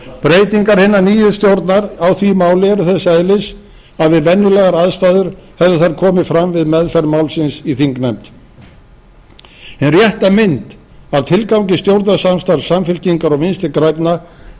breytingar hinar nýju stjórnar á því máli eru þess eðlis að við venjulegar aðstæður hefðu þær komið fram við meðferð málsins í þingnefnd hin rétta mynd af tilgangi stjórnarsamstarfs samfylkingar og vinstri grænna birtist hér í